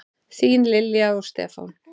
Þín Lilja og Stefán.